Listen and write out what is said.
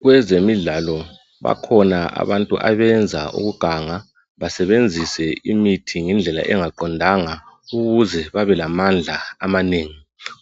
Kwezemidlalo bakhona abantu abenza ukuganga basebenzise imithi ngendlela engaqondanga ukuze bebelamandla amanengi